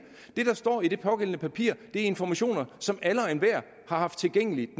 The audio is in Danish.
det der står i det pågældende papir er informationer som var tilgængelige